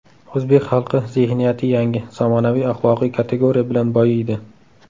O‘zbek xalqi zehniyati yangi, zamonaviy axloqiy kategoriya bilan boyiydi.